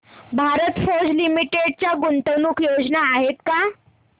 भारत फोर्ज लिमिटेड च्या गुंतवणूक योजना आहेत का